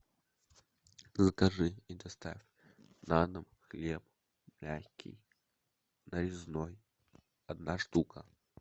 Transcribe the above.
закажи и доставь на дом хлеб мягкий нарезной одна штука